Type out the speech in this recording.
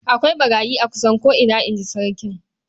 "Akwai ɓarayi a kusan ko'ina", in ji sarkin.